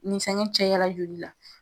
Ni fɛngɛw cayala joli la